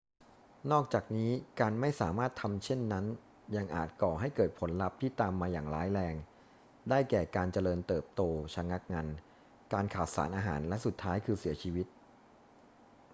นอกจากนี้ การไม่สามารถทำเช่นนั้นยังอาจก่อให้เกิดผลลัพธ์ที่ตามมาอย่างร้ายแรง ได้แก่ การเจริญเติบโตชะงักงัน การขาดสารอาหาร และสุดท้ายคือเสียชีวิต